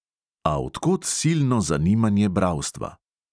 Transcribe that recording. A od kod silno zanimanje bralstva?